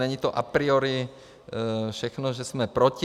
Není to a priori všechno, že jsme proti.